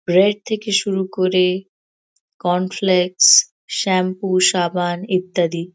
bread থেকে শুরু করে কনফ্লেক্স শ্যাম্পু সাবান ইত্যাদি |